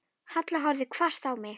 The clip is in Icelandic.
Halla horfði hvasst á mig.